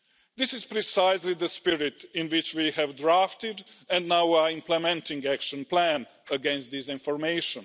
This is precisely the spirit in which we have drafted, and now are implementing, the action plan against disinformation.